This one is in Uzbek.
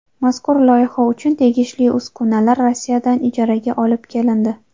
Mazkur loyiha uchun tegishli uskunalar Rossiyadan ijaraga olib kelindi.